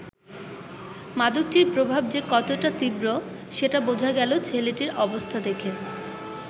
মাদকটির প্রভাব যে কতটা তীব্র, সেটা বোঝা গেল ছেলেটির অবস্থা দেখে।